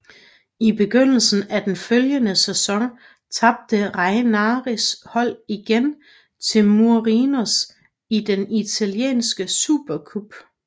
I begyndelsen af den følgende sæson tabte Ranieris hold igen til Mourinhos i den italienske supercup